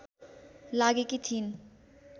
लागेकी थिईन्